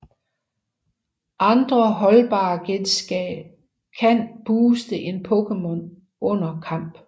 Andre holdbare genstande kan booste en Pokémon under kamp